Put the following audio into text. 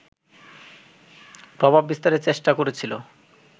প্রভাব বিস্তারের চেষ্টা করছিল